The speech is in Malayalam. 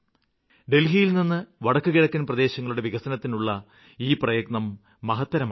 ഡല്ഹിയില് നിന്ന് വടക്കുകിഴക്കന് പ്രദേശങ്ങളുടെ വികസനത്തിനുള്ള ഈ പ്രയത്നം മഹത്തരമാണ്